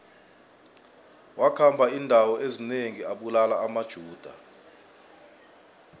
wakhamba indawo ezinengi abulala amajuda